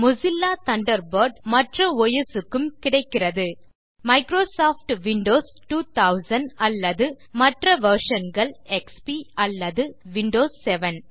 Mozilla Thunderbird மற்ற OS க்கும் கிடைக்கிறது மைக்ரோசாஃப்ட் விண்டோஸ் 2000 அல்லது மற்ற வெர்ஷன் கள் எம்எஸ் விண்டோஸ் எக்ஸ்பி அல்லது எம்எஸ் விண்டோஸ் 7